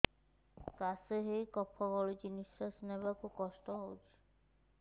କାଶ ହେଇ କଫ ଗଳୁଛି ନିଶ୍ୱାସ ନେବାକୁ କଷ୍ଟ ହଉଛି